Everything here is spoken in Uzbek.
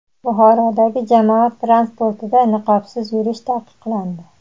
Buxorodagi jamoat transportida niqobsiz yurish taqiqlandi.